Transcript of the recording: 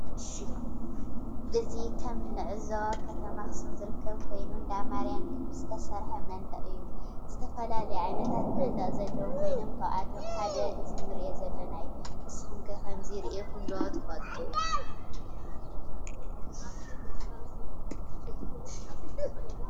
እዚ ከም እንዕዞ አብ ከተማ አክሱም ዝርከብ ኮይኑ እንዳ ማርያም ግቢ ዝተሰርሐ መንደቅ እዩ። ዝተፈላዩ ዓይነታት መንደቃ ዘለው ኮይኖም ካብአቶም ሓደ እዚ እንሪኦ ዘለና እዩ። ንስኩም ከ ከምዚ ሪኢኩም ዶ ትፈልጡ ?